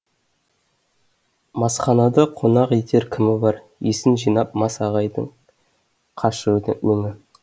масханада қонақ етер кімі бар есін жинап мас ағайдың қашты өңі